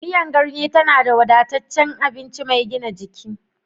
Miyar ganye tana da wadataccen abinci mai gina jiki.